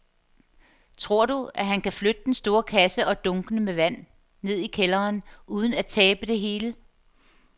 Tror du, at han kan flytte den store kasse og dunkene med vand ned i kælderen uden at tabe det hele?